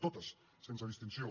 totes sense distinció